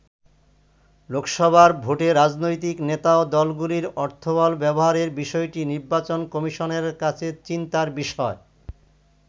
লোকসভার ভোটে রাজনৈতিক নেতা ও দলগুলির অর্থবল ব্যবহারের বিষয়টি নির্বাচন কমিশনের কাছে চিন্তার বিষয়।